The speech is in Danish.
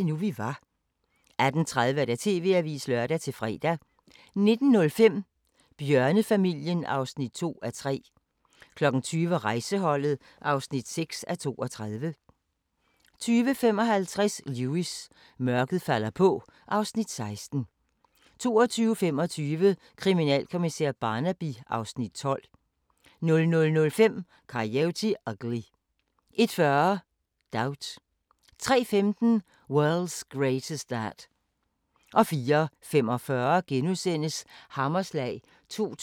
19:20: Pigerne fra Berlin (3:3) 21:00: Ausfahrt (Afs. 4) 22:00: Wind of Change 22:30: Deadline (lør-fre) 23:00: Sidste nyt fra Østfronten 23:35: Boko Haram – Ondskabens udspring 00:25: Nazi-cellen (2:3) 02:00: Mig og min familie (16:61) 02:30: Mig og min familie (17:61) 03:00: Deadline Nat